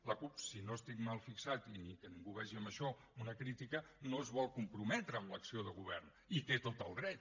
la cup si no estic mal fixat i que ningú vegi en això una crítica no es vol comprometre amb l’acció de govern hi té tot el dret